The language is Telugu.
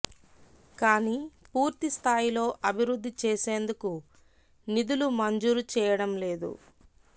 కాని పూర్తి స్థాయిలో అభివృద్ధి చేసేందుకు నిధులు మంజూరు చేయడం లేదు